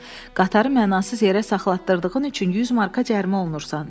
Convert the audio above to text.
Qatarı mənasız yerə saxlatdırdığın üçün 100 marka cərimə olunursan.